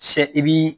Se i bi